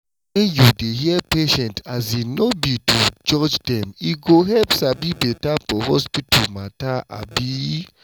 when you dey hear patients um no be to judge dem e go help sabi beta for hospital matter um